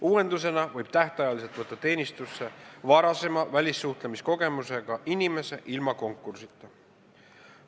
Uuendusena võib tähtajaliselt võtta teenistusse varasema välissuhtlemiskogemusega inimese ilma konkursita.